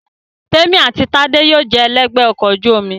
Témì àti Tádé yóò jẹ ẹlẹ́gbẹ̀ẹ́ ọkọ̀ ojú omi